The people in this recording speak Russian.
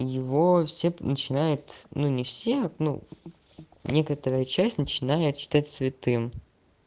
его все начинают ну не все одну некоторые часть начинает считать святым